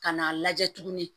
Ka n'a lajɛ tuguni